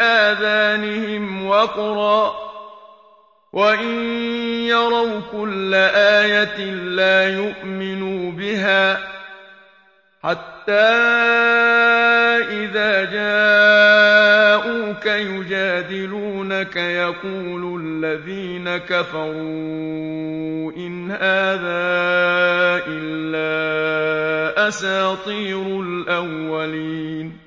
آذَانِهِمْ وَقْرًا ۚ وَإِن يَرَوْا كُلَّ آيَةٍ لَّا يُؤْمِنُوا بِهَا ۚ حَتَّىٰ إِذَا جَاءُوكَ يُجَادِلُونَكَ يَقُولُ الَّذِينَ كَفَرُوا إِنْ هَٰذَا إِلَّا أَسَاطِيرُ الْأَوَّلِينَ